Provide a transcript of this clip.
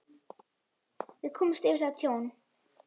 Við komumst yfir það tjón.